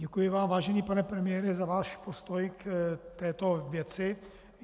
Děkuji vám, vážený pane premiére, za váš postoj k této věci.